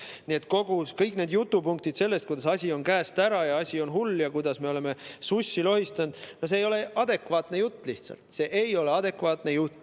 Nii et kõik need jutupunktid, kuidas asi on käest ära ja asi on hull ja kuidas me oleme sussi lohistanud, ei ole lihtsalt adekvaatne jutt.